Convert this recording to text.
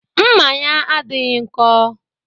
Mma ya adịghị nko